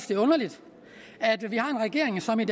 det er underligt at vi har en regering som i